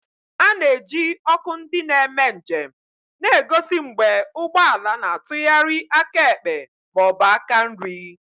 A na-eji ọkụ ndị na-eme njem na-egosi mgbe ụgbọ ala na-atụgharị aka ekpe ma ọ bụ aka nri.